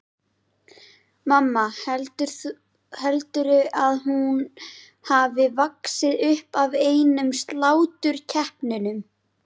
Mamma, heldurðu að hún hafi vaxið upp af einum sláturkeppnum?